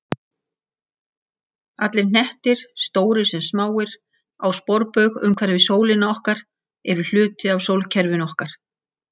Allir hnettir, stórir sem smáir, á sporbaug umhverfis sólina okkar eru hluti af sólkerfinu okkar.